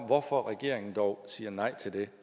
hvorfor regeringen dog siger nej til det